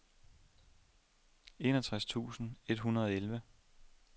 enogtres tusind et hundrede og elleve